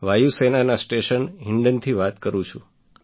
વાયુ સેનાના સ્ટેશન હિંડનથી વાત કરું છું